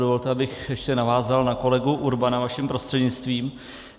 Dovolte, abych ještě navázal na kolegu Urbana vaším prostřednictvím.